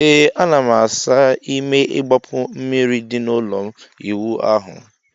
Ee ana m asa ime igbapu mmiri di na ụlọ ịwụ ahu m